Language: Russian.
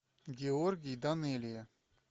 георгий данелия